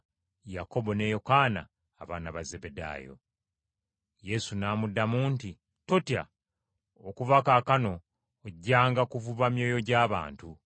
Yakobo ne Yokaana abaana ba Zebbedaayo. Yesu n’amuddamu nti, “Totya! Okuva kaakano ojjanga kuvuba myoyo gya bantu.”